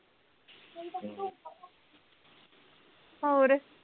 ਹੋਰ